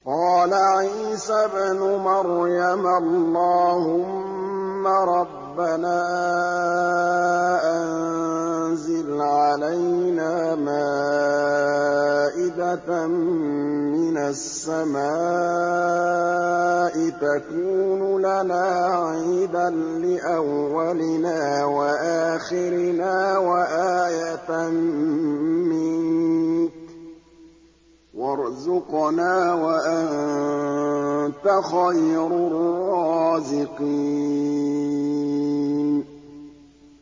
قَالَ عِيسَى ابْنُ مَرْيَمَ اللَّهُمَّ رَبَّنَا أَنزِلْ عَلَيْنَا مَائِدَةً مِّنَ السَّمَاءِ تَكُونُ لَنَا عِيدًا لِّأَوَّلِنَا وَآخِرِنَا وَآيَةً مِّنكَ ۖ وَارْزُقْنَا وَأَنتَ خَيْرُ الرَّازِقِينَ